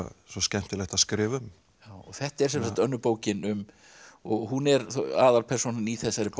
svo skemmtilegt að skrifa um þetta er önnur bókin um hún er aðalpersónan í þessari bók